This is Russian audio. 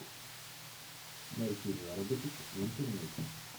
найти заработок в интернете